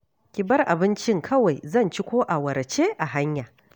Ki bar abincin kawai, zan ci ko awara ce a hanya